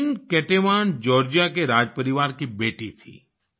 queen Ketevan Georgia के राजपरिवार की बेटी थीं